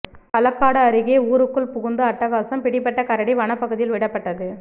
களக்காடு அருகே ஊருக்குள் புகுந்து அட்டகாசம் பிடிபட்ட கரடி வனப்பகுதியில் விடப்பட்டது